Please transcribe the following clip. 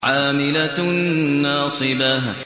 عَامِلَةٌ نَّاصِبَةٌ